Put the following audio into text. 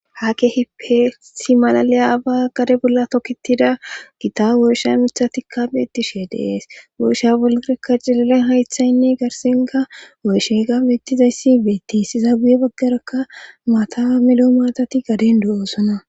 ha ke hipeesi malaliya aba gare bolla tokitida gita woysha mitha tikka beettishe dees woysha bolarakka cilalen haythaynne garsinga woyshega beettizayssi beettis izaaguye baggarakka maata miloo maatati gaden do7oo sona